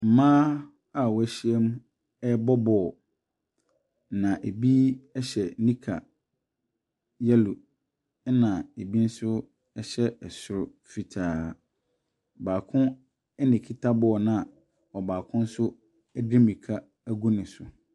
Mmaa a wɔahyiam ɛrebɔ bɔɔlo. Na ɛbi hyɛ nika yellow na bi nso hyɛ soro fitaa. Baako na ɛkita bɔɔlo na ɔbaako nso di de mirika agu ne so.